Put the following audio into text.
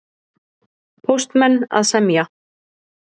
Póstmenn að semja